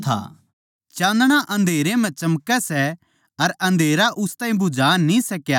चाँदणा अन्धेरै म्ह चमकै सै अर अन्धेरा उस ताहीं बुझा न्ही सका